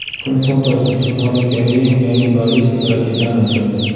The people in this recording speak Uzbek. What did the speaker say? Kun fotosi: Shimoliy Koreya yangi ballistik raketani uchirdi.